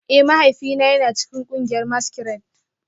Eh, mahaifina yana cikin kungiyar maskirade